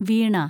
വീണ